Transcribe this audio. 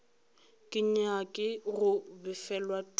ke nyake go befelwa tumi